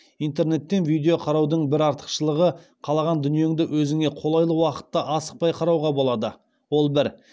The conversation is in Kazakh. интернеттен видео қараудың бір артықшылығы қалаған дүниеңді өзіңе қолайлы уақытта асықпай қарауға болады ол бір